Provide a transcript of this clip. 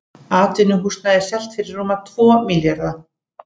Atvinnuhúsnæði selt fyrir rúma tvo milljarða